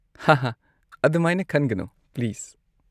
ꯍꯥꯍꯥ ꯑꯗꯨꯃꯥꯏꯅ ꯈꯟꯒꯅꯣ, ꯄ꯭ꯂꯤꯁ꯫